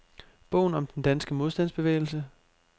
Bogen om den danske modstandsbevægelse.